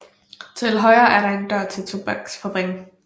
Til højre er der en dør til tobaksfabrik